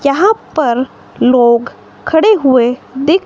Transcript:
यहां पर लोग खड़े हुए दिख--